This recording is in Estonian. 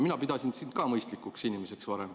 Mina pidasin sind ka varem mõistlikuks inimeseks.